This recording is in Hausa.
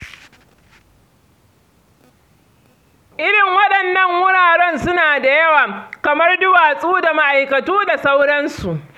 Irin waɗannan wuraren suna da yawa, kamar duwatsu da ma'aikatu da sauransu.